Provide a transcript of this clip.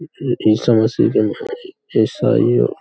यह ईसामसी का इसाइओं --